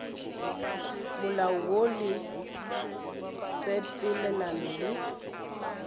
molao woo le tshepelelano le